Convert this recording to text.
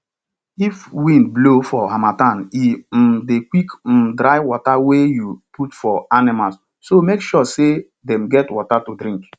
if wind blow for harmattan e um dey quick um dry water wey you put for animals so make sure say dem get water to drink